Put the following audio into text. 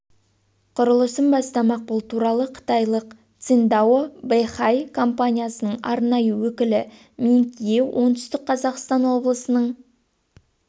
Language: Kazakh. құрылысын бастамақ бұл туралы қытайлық циндао бэйхай компаниясының арнайы өкілі минг ие оңтүстік қазақстан облысының